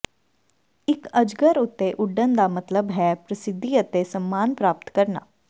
ਇਕ ਅਜਗਰ ਉੱਤੇ ਉੱਡਣ ਦਾ ਮਤਲਬ ਹੈ ਪ੍ਰਸਿੱਧੀ ਅਤੇ ਸਨਮਾਨ ਪ੍ਰਾਪਤ ਕਰਨਾ